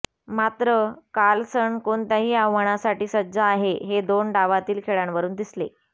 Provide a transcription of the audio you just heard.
मात्र कार्लसन कोणत्याही आव्हानासाठी सज्ज आहे हे दोन डावांतील खेळांवरून दिसले